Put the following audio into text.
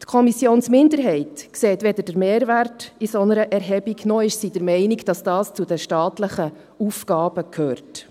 – Die Kommissionsminderheit sieht weder den Mehrwert einer solchen Erhebung, noch ist sie der Meinung, dass dies zu den staatlichen Aufgaben gehört.